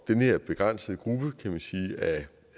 den her begrænsede gruppe af